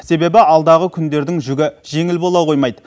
себебі алдағы күндердің жүгі жеңіл бола қоймайды